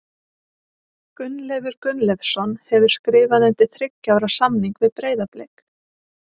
Gunnleifur Gunnleifsson hefur skrifað undir þriggja ára samning við Breiðablik.